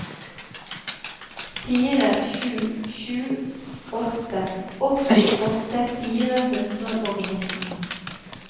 fire sju sju åtte åttiåtte fire hundre og nitten